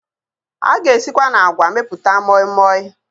A ga esikwa na àgwà mepụta mọịmọị